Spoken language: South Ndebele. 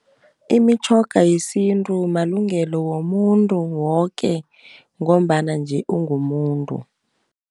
Imitjhoga yesintu malungelo womuntu woke, ngombana nje ungumuntu.